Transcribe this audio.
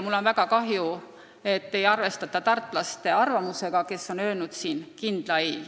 Mul on väga kahju, et ei arvestata tartlaste arvamusega, kes on öelnud kindla ei.